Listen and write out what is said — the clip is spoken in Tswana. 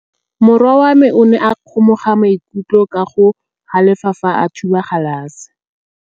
Morwa wa me o ne a kgomoga maikutlo ka go galefa fa a thuba galase.